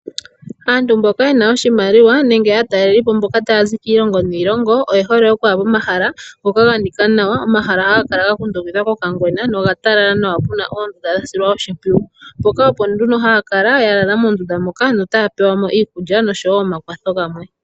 Aantu mboka yena oshimaliwa nenge aatalelipo mboka tayazi kiilongo niilongo oyehole okuya pomahala ngoka ganika nawa. Omahala haga kala ga kundukidhwa kokangwena noga talala nawa puna oondunda dha silwa oshimpwiyu. Mpoka opo nduno haya kala ya lala moondunda moka notaya pewamo iikulya noshowo omakwatho gamwe.